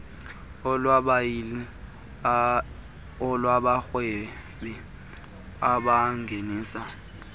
olwabayili olwabarhwebi abangenisa